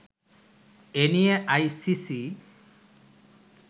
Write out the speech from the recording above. এনিয়ে আইসিসি